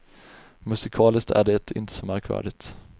Musikaliskt är det inte så märkvärdigt.